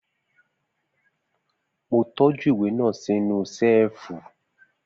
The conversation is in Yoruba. Mo tọ́jú ìwé náà sínú Ṣẹ́ẹ̀fù